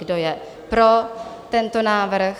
Kdo je pro tento návrh?